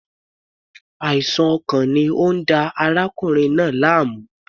Àìsàn ọkàn ni ó ń da arákùnrin náà láàmú.